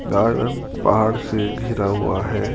घर पहाड़ से घिरा हुआ है।